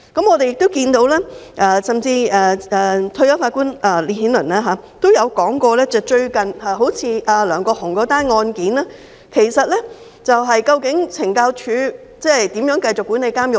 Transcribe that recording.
我們亦看到，而退休法官烈顯倫也提到最近梁國雄的案件，究竟懲教署可以如何繼續管理監獄呢？